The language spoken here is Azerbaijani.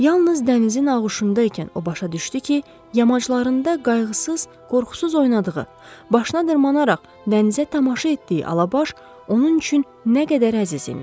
Yalnız dənizin ağuşunda ikən o başa düşdü ki, yamaclarında qayğısız, qorxusuz oynadığı, başına dırmanaraq dənizə tamaşa etdiyi Alabaş onun üçün nə qədər əziz imiş.